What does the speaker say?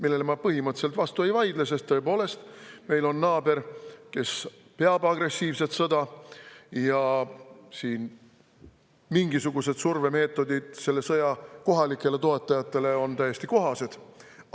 Sellele ma põhimõtteliselt küll vastu ei vaidle, sest tõepoolest, meil on naaber, kes peab agressiivset sõda, ja mingisugused survemeetodid selle sõja kohalikele toetajatele on täiesti kohased.